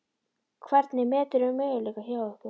Hvernig meturðu möguleika ykkar?